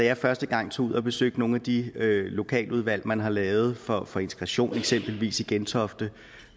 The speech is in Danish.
jeg første gang tog ud og besøgte nogle af de lokaludvalg man har lavet for for integration eksempelvis i gentofte